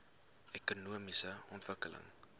ekonomiese ontwikkeling